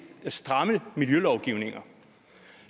stramme miljølovgivninger